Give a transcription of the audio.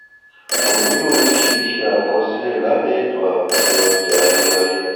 kò nílò oríṣiríṣi àkọsílẹ lábẹ ètò àkójọ ọjà ayérayé